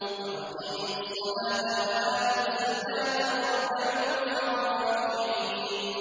وَأَقِيمُوا الصَّلَاةَ وَآتُوا الزَّكَاةَ وَارْكَعُوا مَعَ الرَّاكِعِينَ